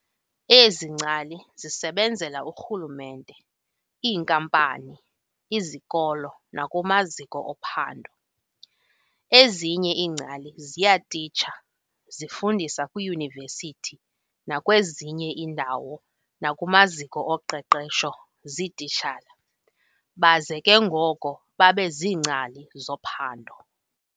Ezi ngcali zisebenzela urhulumente, iinkampani, izikolo nakumaziko ophando. ezinye iingcali ziyatitsha, zifundisa kwiiyunivesithi nakwezinye iindawo nakumaziko oqeqesho zititshala, baze ke ngoko babeziingcali zophando.